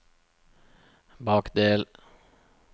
bakdel